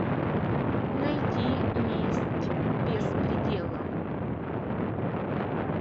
найти месть без предела